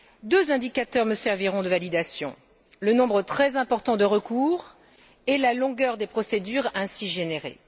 Deux indicateurs me serviront de validation le nombre très important de recours et la longueur des procédures ainsi générées.